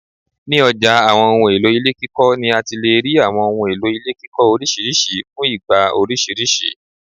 Ni ọjà àwọn ohùn èlò ilé kíkọ ni àti lè rí àwọn ohun èlò ilé kíkọ orisirisi fún ìgbà orisirisi